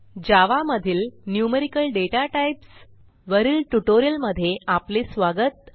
जावा मधील numerical data types वरील ट्युटोरियलमध्ये आपले स्वागत